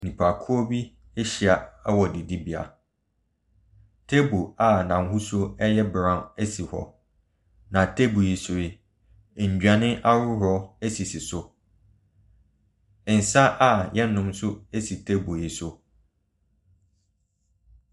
Nnipakuo bi ahyia wɔ adidibe, table a n’hosuo yɛ brown si hɔ. na table yi so yi, nnuane ahodoɔ sisi so. Nsa a yɛnom nso si table yi so.